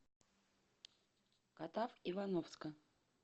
катав ивановска